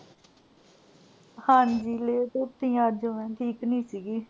ਹਾਂਜੀ late ਉੱਠੀ ਆਂ ਅੱਜ ਮੈਂ, ਠੀਕ ਨੀ ਸੀ ਗੀ।